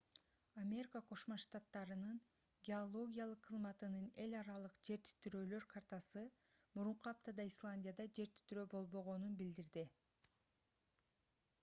америка кошмо штаттарынын геологиялык кызматынын эл аралык жер титирөөлөр картасы мурунку аптада исландияда жер титирөө болбогонун билдирди